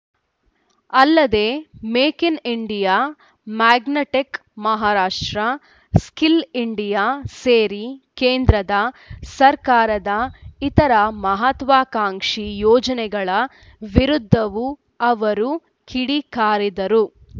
ಅಲ್ಲದೆ make in India magnetic Maharashtra skill India ಸೇರಿ ಕೇಂದ್ರ ಸರ್ಕಾರದ ಇತರ ಮಹತ್ವಾಕಾಂಕ್ಷಿ ಯೋಜನೆಗಳ ವಿರುದ್ಧವೂ ಆವರು ಕಿಡಿಕಾರಿದರು